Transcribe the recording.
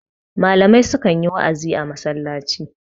malamai sukan yi wa'azi a masallaci